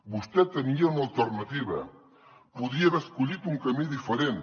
vostè tenia una alternativa podia haver escollit un camí diferent